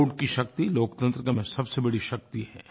vote की शक्ति लोकतंत्र में सबसे बड़ी शक्ति है